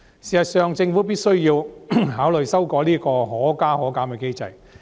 事實上，政府必須考慮修改"可加可減"機制。